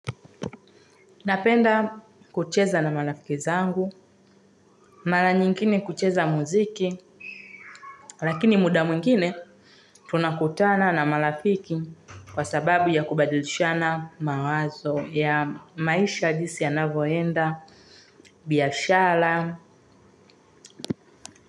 Napenda kucheza na marafiki wangu mara nyingine kucheza muziki, lakini muda mwingine, tunakutana na marafiki kwa sababu ya kubadilishana mawazo ya maisha, jinsi yanavyoenda, biashara.